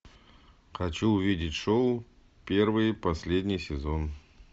хочу увидеть шоу первый и последний сезон